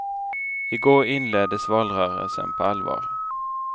I går inleddes valrörelsen på allvar.